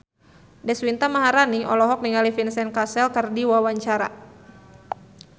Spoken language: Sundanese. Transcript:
Deswita Maharani olohok ningali Vincent Cassel keur diwawancara